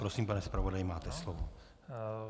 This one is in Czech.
Prosím, pane zpravodaji, máte slovo.